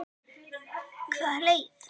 Karen Kjartansdóttir: Hvaða leið?